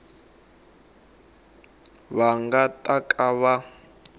va nga ta ka va